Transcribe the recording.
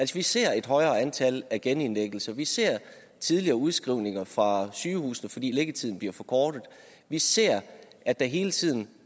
vi ser et højere antal af genindlæggelser vi ser tidligere udskrivninger fra sygehusene fordi liggetiden bliver forkortet vi ser at der hele tiden